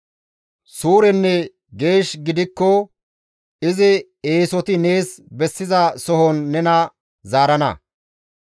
suurenne geesh gidikko izi eesoti nees bessiza sohon nena zaarana.